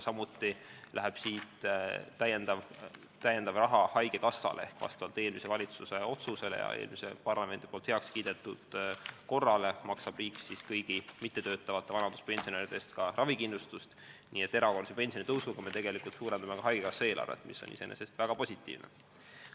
Samuti läheb siit lisaraha haigekassale ehk vastavalt eelmise valitsuse otsusele ja eelmise parlamendi heakskiidetud korrale maksab riik kõigi mittetöötavate vanaduspensionäride eest ka ravikindlustust, nii et erakorralise pensionitõusuga me tegelikult suurendame haigekassa eelarvet, mis on iseenesest väga positiivne.